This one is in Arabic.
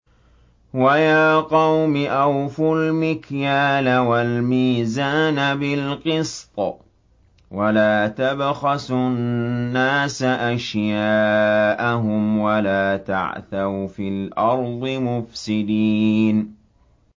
وَيَا قَوْمِ أَوْفُوا الْمِكْيَالَ وَالْمِيزَانَ بِالْقِسْطِ ۖ وَلَا تَبْخَسُوا النَّاسَ أَشْيَاءَهُمْ وَلَا تَعْثَوْا فِي الْأَرْضِ مُفْسِدِينَ